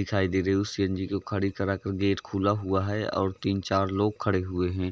दिखाई दे रही हैं उस सी.एन.जी. को खड़ी करा कर गेट खुला हुआ हैं और तीन चार लोग खड़े हुए हैं।